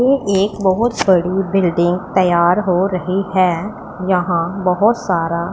ए एक बहोत बड़ी बिल्डिंग तैयार हो रही है यहां बहोत सारा--